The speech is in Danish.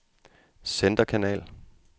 centerkanal